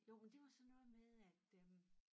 Jo men det var sådan noget med at øh